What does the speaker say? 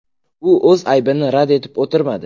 U o‘z aybini rad etib o‘tirmadi.